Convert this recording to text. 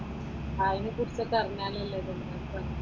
ആദ്യം സിസ്റ്റമൊക്കെ അറിഞ്ഞാലല്ലേ ഇത് എൻട്രൻസ് ആകുള്ളു.